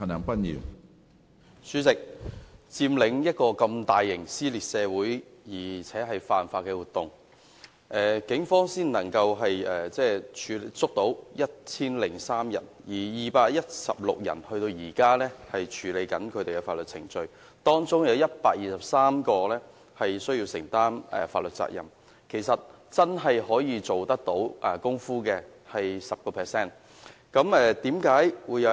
主席，一個如佔中這麼大型、撕裂社會且犯法的活動，警方只拘捕了1003人，至今仍有216人正處於法律程序中，當中有123人需要承擔法律責任，真正需要承擔責任的其實只有 10%。